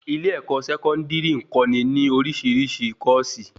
ilé-ẹ̀kọ́ Sẹkọndiri n kọ́ ni ni orisirisi kòsí